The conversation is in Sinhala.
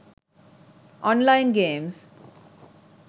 online games